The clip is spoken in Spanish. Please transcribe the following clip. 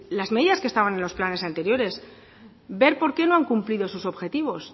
las medidas que estaban en los planes anteriores ver por qué no han cumplido sus objetivos